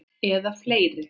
Eða fleiri.